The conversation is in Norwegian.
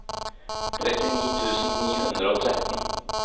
trettini tusen ni hundre og tretten